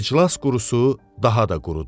İclas qurusu daha da qurudu.